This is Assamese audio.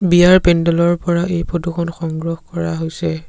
বিয়াৰ পেণ্ডেলৰ পৰা এই ফটো খন সংগ্ৰহ কৰা হৈছে।